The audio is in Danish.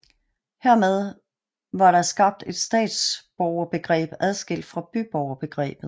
Hermed var der skabt et statsborgerbegreb adskilt fra byborgerbegrebet